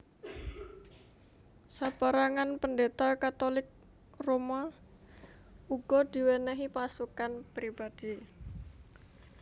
Sapérangan pendeta Katolik Roma uga diwénéhi pasukan pribadhi